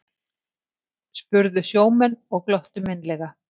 spurðu sjómenn og glottu meinlega.